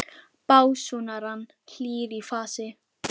básúnar hann, hlýr í fasi.